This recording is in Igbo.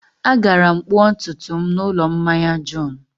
Agara m kpụọ ntutu m n'ụlọ mmanya John.